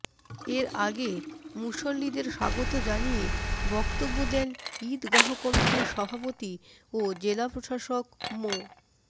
এর আগে মুসল্লিদের স্বাগত জানিয়ে বক্তব্য দেন ঈদগাহ কমিটির সভাপতি ও জেলা প্রশাসক মো